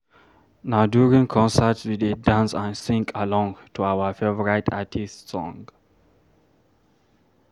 Na during concerts, we dey dance and sing along to our favorite artists’ songs.